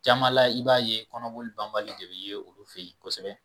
Jama la i b'a ye kɔnɔboli banbali de bi ye olu fɛyi kosɛbɛ.